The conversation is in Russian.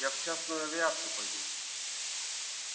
я в частную авиацию пойду